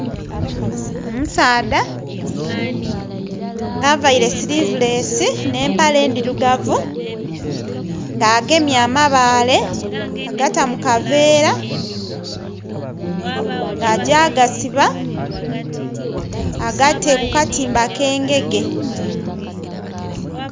Omusaadha nga avaire sirivulesi ne empale endhirugavu nga agemye amabaale agata mu kaveera nga agya gasiba agate ku katimba ke engege.